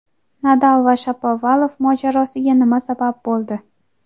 Nadal va Shapovalov mojarosiga nima sabab bo‘ldi?.